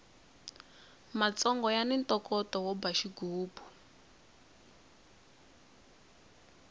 matsongo yani ntokoto wo ba xigubu